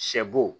Sɛ bo